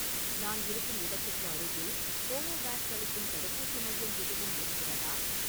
நான் இருக்கும் இடத்துக்கு அருகில் கோவோவேக்ஸ் அளிக்கும் தடுப்பூசி மையம் எதுவும் இருக்கிறதா?